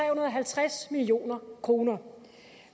og halvtreds million kroner